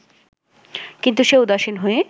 কিন্তু সে উদাসীন হয়ে